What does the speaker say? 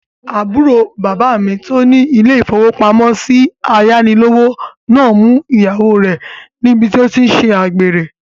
Àbúrò bàbá mi tó ní ilé-ìfowópamọ́sí ayánilówó náà mú ìyàwó rẹ̀ níbi tí ó tí n ṣe àgbèrè